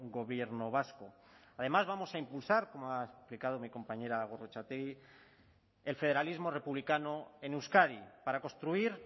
gobierno vasco además vamos a impulsar como ha explicado mi compañera gorrotxategi el federalismo republicano en euskadi para construir